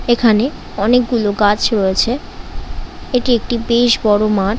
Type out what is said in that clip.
এখানে অনেক গুলো গাছ রয়েছে। এটি একটি বেশ বড় মাঠ।